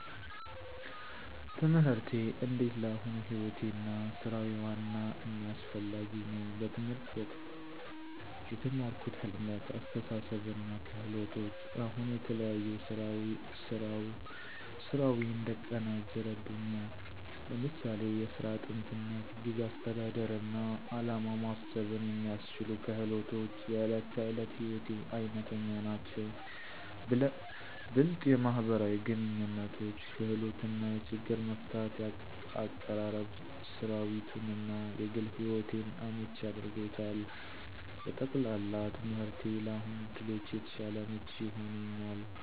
ትምህርቴ እንዴት ለአሁኑ ሕይወቴ እና ሥራዊ ዋና እና አስፋሚ ነው። በትምህርት ወቅቴ የተማርኩት ህልመት፣ አስተሳሰብ እና ክህሎቶች አሁን የተለያዩ ሥራዊ እንድቀናጅ እረድቱኛ። ለምሳሌ፣ የሥራ �ጥንትነት፣ ጊዜ አስተዳደር እና ዓላማ ማሰብን የሚያስችሉ ክህሎቶች � የእለት ተእለት ሕይወቴ አይነተኛ ናቸው። ብለጥ የማህበራዊ ግንኙነቶች ክህሎት እና የችግር መፍታት አቀራረብ ሥራዊቱን እና የግል ሕይወቴን አመቺ አድርጎታል። በጠቅላላ፣ ትምህርቴ ለአሁን ዕድሎቼ የተሻለ አመቺ ሆኖኛል።